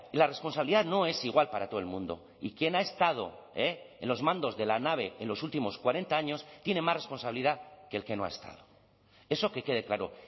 la responsabilidad no es igual para todo el mundo y quien ha estado en los mandos de la nave en los últimos cuarenta años tiene más responsabilidad que el que no ha estado eso que quede claro